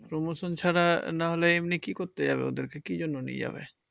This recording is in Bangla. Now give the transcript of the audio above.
Promotion ছাড়া নাহলে এমনি কি করতে যাবে? ওদেরকে কি জন্য নিয়ে যাবে?